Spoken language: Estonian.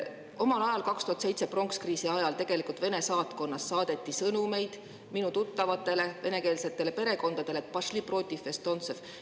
Omal ajal, 2007. aasta pronks kriisi ajal, saadeti Vene saatkonnast sõnumeid minu tuttavatele venekeelsetele perekondadele, et pošli protiv estontsev.